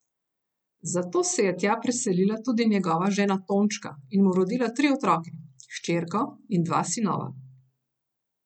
Zato se je tja preselila tudi njegova žena Tončka in mu rodila tri otroke, hčerko in dva sinova.